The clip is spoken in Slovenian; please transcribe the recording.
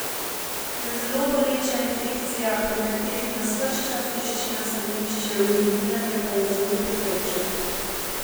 Je zelo boleča infekcija, pri kateri nas ves čas tišči na stranišče, uriniranje pa je zelo pekoče.